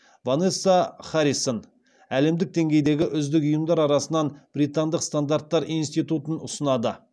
ванесса харрисон әлемдік деңгейдегі үздік ұйымдар арасынан британдық стандарттар институтын ұсынады